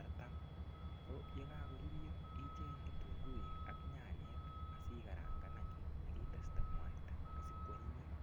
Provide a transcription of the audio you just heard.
artam. Ko ndakakorurio icheng kitunguik ak nyanyek asi karangan anyun ak iteste mwaita asikwanyinyit.